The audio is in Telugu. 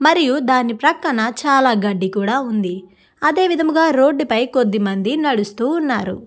మరియు దాని ప్రక్కన చాలా గడ్డి కూడా ఉంది. అదే విధముగా రోడ్డు పై కొద్దిమంది నడుస్తూ ఉన్నారు.